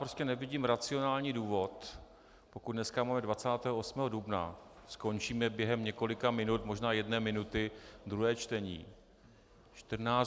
Prostě nevidím racionální důvod, pokud dneska máme 28. dubna, skončíme během několika minut, možná jedné minuty, druhé čtení.